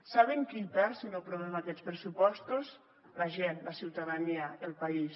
saben qui hi perd si no aprovem aquests pressupostos la gent la ciutadania el país